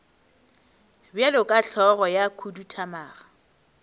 bjalo ka hlogo ya khuduthamaga